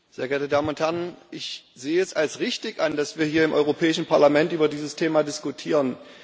Herr Präsident, sehr geehrte Damen und Herren! Ich sehe es als richtig an, dass wir hier im Europäischen Parlament über dieses Thema diskutieren.